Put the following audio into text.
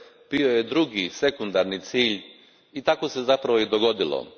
bio je drugi, sekundarni cilj i tako se zapravo i dogodilo.